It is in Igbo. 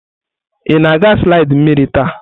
Ị na-aga slidi mmiri taa?